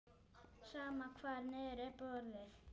Sama hvar niður er borið.